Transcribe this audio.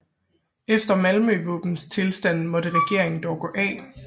Efter Malmøvåbenstilstanden måtte regeringen dog gå af